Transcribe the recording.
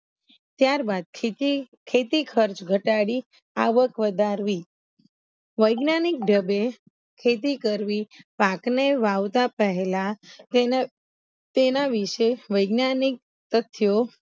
ત્યાર બાદ ખેતી ખેતી ખર્ચ ઘટાડી આવક વધારવી વૈજ્ઞાનિક ઢબે ખેતી કરવી પાક ને વાવતા પેહલા તેને તેના વિષે વૈજ્ઞાનિક તથ્યો